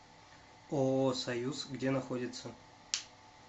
ооо союз где находится